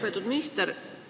Lugupeetud minister!